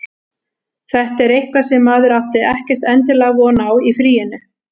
Þetta er eitthvað sem maður átti ekkert endilega von á í fríinu.